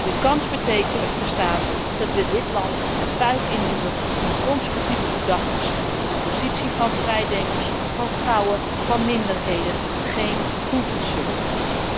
De kans bestaat echter dat we dit land een fuik induwen van conservatieve gedachten die de positie van vrijdenkers, van vrouwen, van minderheden geen goed zullen doen.